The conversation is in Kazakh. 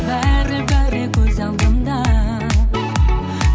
бәрі бәрі көз алдымда